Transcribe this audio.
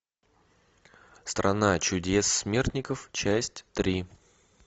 страна чудес смертников часть три